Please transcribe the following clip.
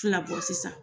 Fila bɔ sisan